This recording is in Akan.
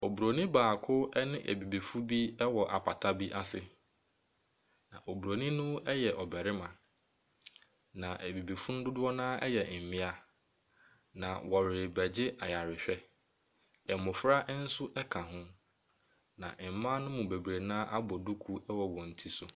Obronin baako ne abibifo bi wɔ apata bi ase. Obronin no yɛ barima na abibifo no dodo no ara yɛ mmea. Na wɔrebɛgye aywrehwɛ. Mmofra nso ka ho. Na mmaa ne mu bebree no ara abɔ duku wɔ wɔn ti so.